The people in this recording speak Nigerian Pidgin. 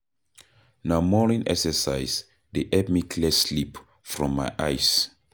Na morning exercise dey help me clear sleep from my eyes.